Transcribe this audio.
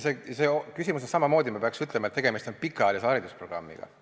Selles küsimuses peaks samamoodi ütlema, et tegemist on pikaajalise haridusprogrammiga.